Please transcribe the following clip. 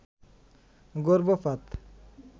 গর্ভপাত